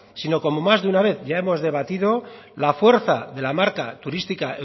si no como más de una vez ya hemos debatido la fuerza de la marca turística